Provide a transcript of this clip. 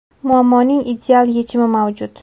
Muammoning ideal yechimi mavjud.